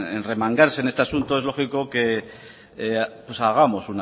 en remangarse en este asunto pues es lógico pues que hagamos